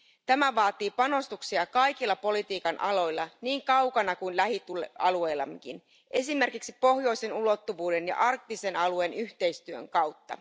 Tämä vaatii panostuksia kaikilla politiikan aloilla niin kaukana kuin lähialueillammekin, esimerkiksi pohjoisen ulottuvuuden ja arktisen alueen yhteistyön kautta.